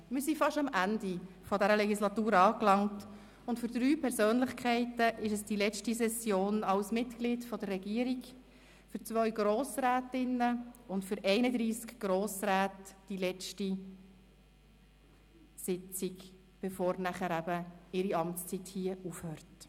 Wir sind fast am Ende dieser Legislatur angelangt, und für drei Persönlichkeiten ist es die letzte Session als Mitglied der Regierung, für zwei Grossrätinnen und für einunddreissig Grossräte die letzte Sitzung, bevor ihre Amtszeit endet.